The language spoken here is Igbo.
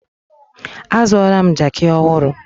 Azụọla m jaaki ọhụrụ.